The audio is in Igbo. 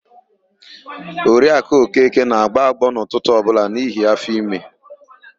Oriakụ Okeke na-agbọ agbọọ n'ụtụtụ ọbụla n'ihi áfọ̀ime.